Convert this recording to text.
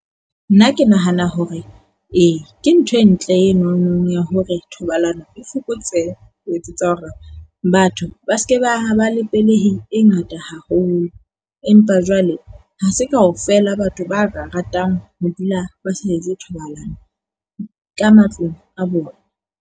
Nna ke nahana hore ee ke ntho e ntle enono ya hore thobalano e fokotsehe. Ho etsetsa hore batho ba se ke ba be le pelehi e ngata haholo. Empa jwale ha se kaofela batho ba ka ratang ho dula ba sa etse thobalano ka matlung a bona.